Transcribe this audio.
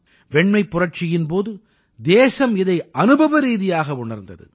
வெண்மைப் புரட்சியின் போது தேசம் இதை அனுபவரீதியாக உணர்ந்தது